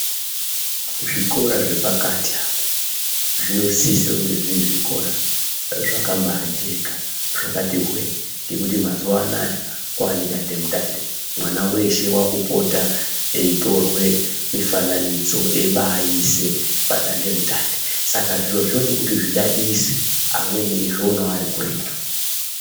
Zvikora zvepakati apa zvinosise kunge zviri zvikora zvakambaajeka zvakati hwe-e. Ngekuti mazuva anaya kwaanedandemutande. Mwana weshe aaakupota eitorwe mifananidzo eibaaise padandemutande. Saka zviro zvinode kuti zvidadise, amweni eizvionawo arikuretu.